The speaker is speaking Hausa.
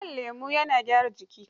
Shan lemo yana gyara jiki.